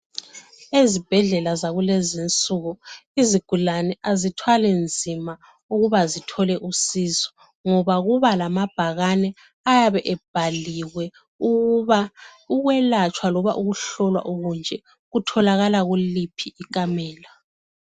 Ezibhedlela zakulezi insuku izigulane azithwali nzima ukuba zithole usizo, ngoba kuba lama bhakane ayabe ebhaliwe ukuba ukwelatshwa loba ukuhlolwa okunje kutholakala kuliphi ikamela.